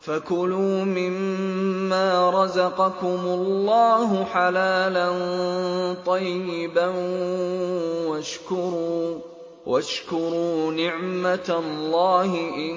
فَكُلُوا مِمَّا رَزَقَكُمُ اللَّهُ حَلَالًا طَيِّبًا وَاشْكُرُوا نِعْمَتَ اللَّهِ إِن